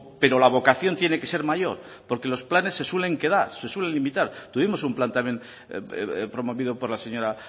pero la vocación tiene que ser mayor porque los planes se suelen quedar se suelen limitar tuvimos un plan también promovido por la señora